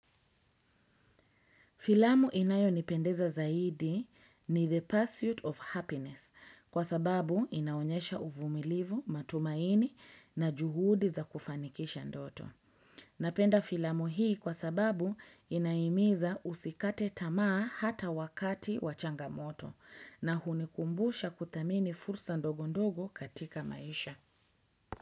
Filamu inayonipendeza zaidi ni the pursuit of happiness kwa sababu inaonyesha uvumilivu, matumaini na juhudi za kufanikisha ndoto. Napenda filamu hii kwa sababu inahimiza usikate tamaa hata wakati wa changamoto na hunikumbusha kuthamini fursa ndogo ndogo katika maisha.